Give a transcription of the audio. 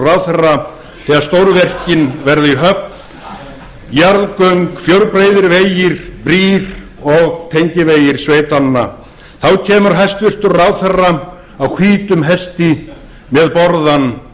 ráðherra þegar stórverkin verða í höfn jarðgöng fjórbreiðir vegir brýr og tengivegir sveitanna þá kemur hæstvirtur ráðherra á hvítum hesti með borðann